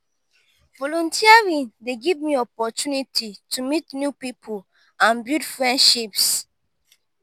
volunteering dey give me opportunity to meet new pipo and build friendships.